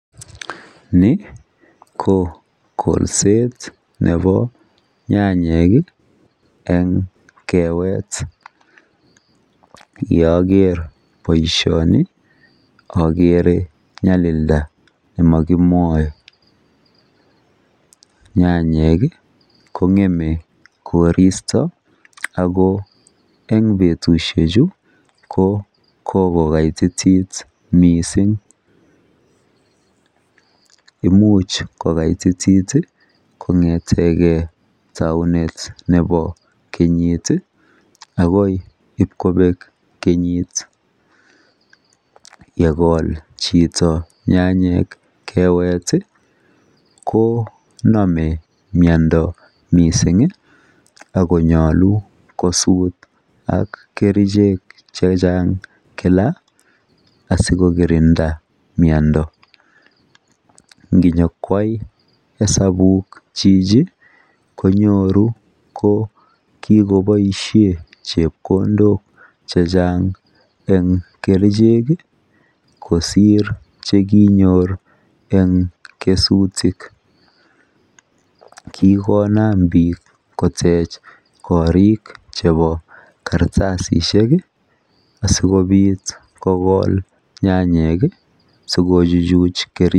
ni ko kolseet nebo nyanyeek iih en keweet, ye ogeer boishoni ogere nyalilda negimoe, nyanyik iih kongeme koristo ago en betushek chu kokogogaititit mising, imuch kogaititit iih kongetegee tauneet nebo kenyiit iih ago ibkobeek kenyiik iih yegool chito nyanyiik keweet iih konome myondo mising iih ak konyolu kosuut ak kerichek chechang kila asikokirinda myondo, inyokwai hesabuuk chichi konyoru ko kigoboishen chepkondook chechang en kerichek iih kosiir chekinyoor en kesutik, kigonaam biik kotech koriik chebo kartasisiek iih asigobiit kogool nyanyeek iih sigojuchuch kerikchek.